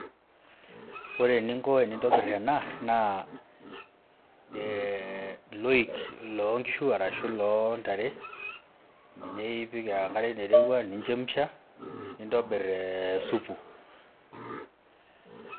Ore eninko tenintobirr ena naa ilooik loonkishu ashu iloontare ninye ipik enkare nairowua ni chemsha nintobirr supu.